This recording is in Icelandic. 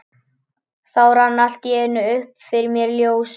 Þá rann allt í einu upp fyrir mér ljós.